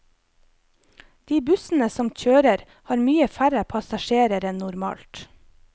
De bussene som kjører, har mye færre passasjerer enn normalt.